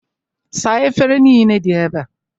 Saa efere nile dị ebea!